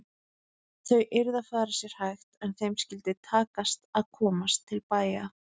Þau yrðu að fara sér hægt en þeim skyldi takast að komast til bæja!